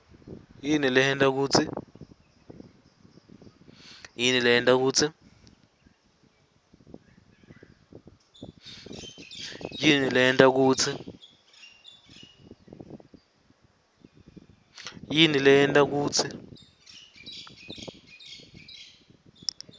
yini leyenta kutsi